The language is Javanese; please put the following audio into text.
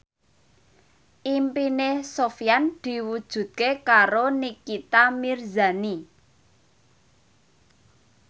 impine Sofyan diwujudke karo Nikita Mirzani